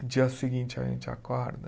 No dia seguinte a gente acorda.